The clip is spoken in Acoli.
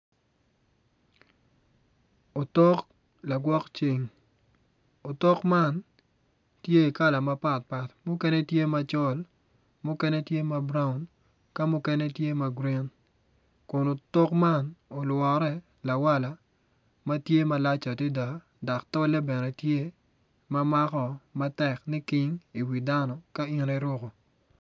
Otok la gwok ceng otok man tye kala mapat pat mukene tye macol mukene tye ma buraun ka mukene tye ma gurin kun otok ma olwore lawaka ma tye malac adida dok tolle bene tye ma mako ma tek niking iwi dano ka in iruku